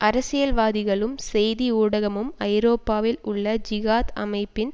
அரசியல்வாதிகளும் செய்தி ஊடகமும் ஐரோப்பாவில் உள்ள ஜிகாத் அமைப்பின்